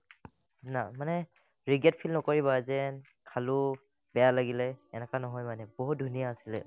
না মানে regret feel নকৰিব আযেন খালো বেয়া লাগিলে এনেকা নহয় মানে বহুত ধুনীয়া আছিলে মানে